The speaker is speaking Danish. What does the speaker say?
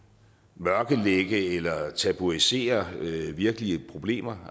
mørklægge eller tabuisere virkelige problemer